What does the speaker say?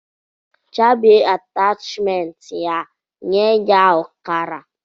Chabie atashmentịa nye ya ọkara.